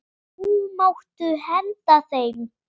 Nú máttu henda þeim.